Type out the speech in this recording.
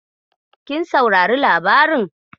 Kin saurari labarin?